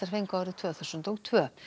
fengu árið tvö þúsund og tvö